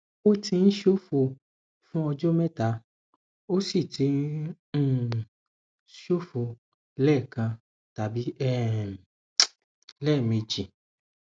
ó ti ń ṣòfò fún ọjọ mẹta ó sì ti ń um ṣòfò lẹẹkan tàbí um lẹẹmejì